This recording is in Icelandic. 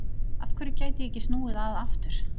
Af hverju gætu ég ekki snúið að aftur?